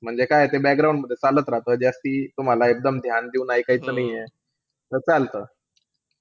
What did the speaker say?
म्हणजे काये ते मध्ये चालत राहतं. जास्ती तुम्हाला मला एकदम ध्यान देऊन ऐकायचं नाहीये. त चालतं.